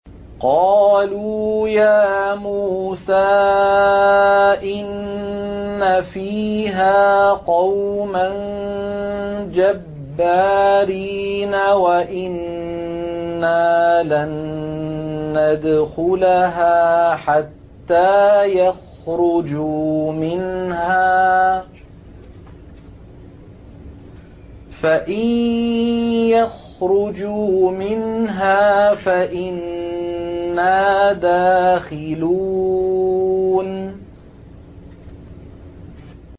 قَالُوا يَا مُوسَىٰ إِنَّ فِيهَا قَوْمًا جَبَّارِينَ وَإِنَّا لَن نَّدْخُلَهَا حَتَّىٰ يَخْرُجُوا مِنْهَا فَإِن يَخْرُجُوا مِنْهَا فَإِنَّا دَاخِلُونَ